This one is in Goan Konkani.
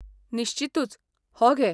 निश्चीतूच, हो घे.